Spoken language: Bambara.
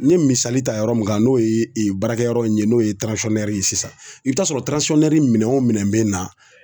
N ye misali ta yɔrɔ min kan n'o ye baarakɛyɔrɔ in ye n'o ye ye sisan i bɛ taa sɔrɔ minɛn o minɛn bɛ na